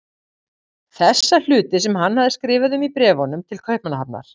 Þessa hluti sem hann hafði skrifað um í bréfunum til Kaupmannahafnar.